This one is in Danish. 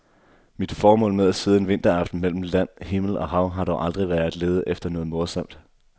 Mit formål med at sidde en vinteraften mellem land, himmel og hav har dog aldrig været at lede efter noget morsomt.